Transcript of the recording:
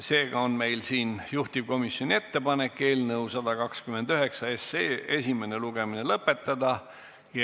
Seega on meil siin juhtivkomisjoni ettepanek eelnõu 129 esimene lugemine lõpetada.